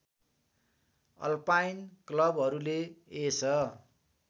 alpine क्लबहरूले यस